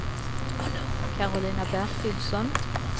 Karolina Bertilsson